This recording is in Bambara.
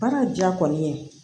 Baara diya kɔni ye